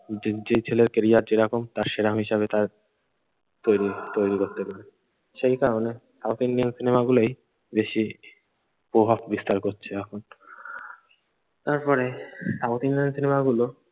যে যে ছেলের ক্যারিয়ার যেরকম তার সেরকম হিসাবে তার তৈরি তৈরি করতে বলি। সেই কারণে সাউথ ইন্ডিয়ান সিনেমাগুলোই বেশি প্রভাব বিস্তার করছে এখন। তারপরে সাউথ ইন্ডিয়ান সিনেমাগুলো।